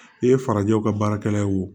I ye farajɛw ka baarakɛla ye wo